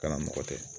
Kana mɔgɔ tɛ